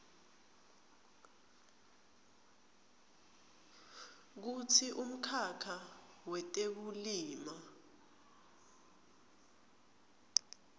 kutsi umkhakha wetekulima